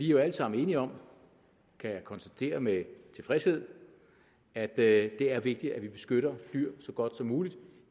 jo alle sammen enige om kan jeg konstatere med tilfredshed at det er vigtigt at vi beskytter dyrene så godt som muligt